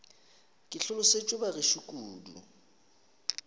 ke hlolosetšwe ba gešo kudu